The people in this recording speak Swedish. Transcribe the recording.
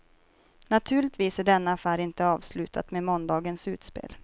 Naturligtvis är denna affär inte avslutad med måndagens utspel.